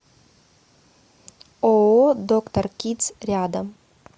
ооо доктор кидс рядом